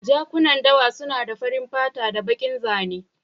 Jakunan dawa suna da farin fata da bakin zane.